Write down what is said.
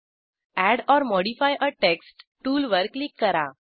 add or modify a text टूलवर click करा